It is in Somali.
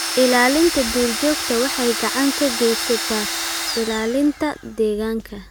Ilaalinta duurjoogta waxay gacan ka geysaneysaa ilaalinta deegaanka.